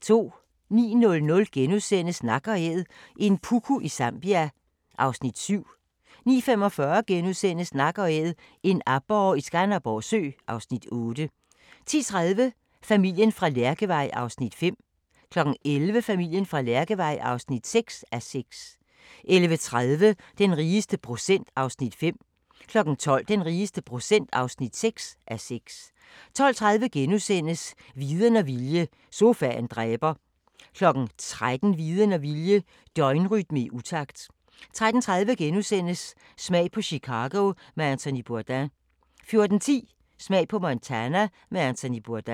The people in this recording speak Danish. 09:00: Nak & Æd – en puku i Zambia (Afs. 7)* 09:45: Nak & Æd – en aborre i Skanderborg Sø (Afs. 8)* 10:30: Familien fra Lærkevej (5:6) 11:00: Familien fra Lærkevej (6:6) 11:30: Den rigeste procent (5:6) 12:00: Den rigeste procent (6:6) 12:30: Viden og vilje – sofaen dræber * 13:00: Viden og vilje – døgnrytme i utakt 13:30: Smag på Chicago med Anthony Bourdain * 14:10: Smag på Montana med Anthony Bourdain